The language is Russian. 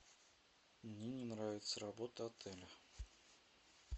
мне не нравится работа отеля